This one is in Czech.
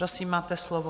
Prosím máte slovo.